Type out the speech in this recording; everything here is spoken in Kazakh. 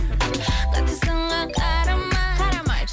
қатты сынға қарамай қарамай